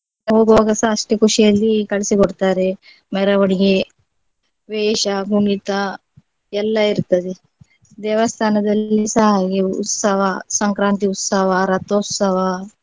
ಹೋಗುವಾಗಸ ಅಷ್ಟೇ ಖುಷಿಯಲ್ಲಿ ಕಳಿಸಿ ಕೊಡ್ತಾರೆ ಮೆರವಣಿಗೆ ವೇಷ ಕುಣಿತ ಎಲ್ಲ ಇರ್ತದೆ ದೇವಸ್ಥಾನದಲ್ಲಿಸ ಹಾಗೆ ಉತ್ಸವ, ಸಂಕ್ರಾಂತಿ ಉತ್ಸವ, ರಥೋತ್ಸವ,